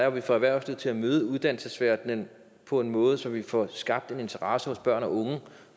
at vi får erhvervslivet til at møde uddannelsesverdenen på en måde så vi får skabt en interesse hos børn og unge